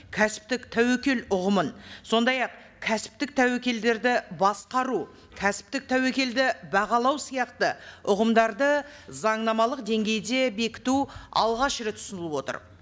кәсіптік тәуекел ұғымын сондай ақ кәсіптік тәуекелдерді басқару кәсіптік тәуекелдерді бағалау сияқты ұғымдарды заңнамалық деңгейде бекіту алғаш рет ұсынылып отыр